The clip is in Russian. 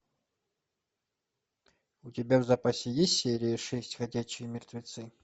у тебя в запасе есть серия шесть ходячие мертвецы